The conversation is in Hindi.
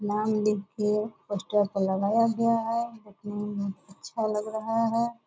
नाम लिख के पोस्टर पर लगाया गया है। देखने में बहुत अच्छा लग रहा है।